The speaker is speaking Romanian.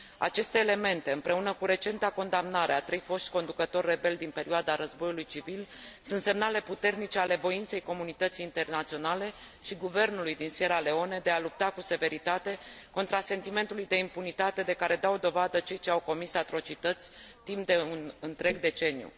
Aceste elemente, împreună cu recenta condamnare a trei foști conducători rebeli din perioada războiului civil sunt semnale puternice ale voinței comunității internaționale și guvernului din Sierra Leone de a lupta cu severitate contra sentimentului de impunitate de care dau dovadă cei ce au comis atrocități timp de un întreg deceniu.